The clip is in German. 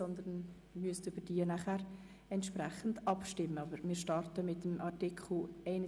Wir müssen nachher entsprechend darüber abstimmen.